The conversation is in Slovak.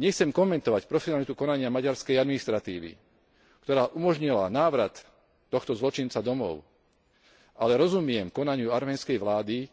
Nechcem komentovať profesionalitu konania maďarskej administratívy, ktorá umožnila návrat tohto zločinca domov, ale rozumiem konaniu arménskej vlády,